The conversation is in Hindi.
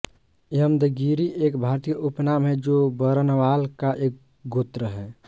यमद्गिरी एक भारतीय उपनाम है जो बरनवाल का एक गोत्र हैं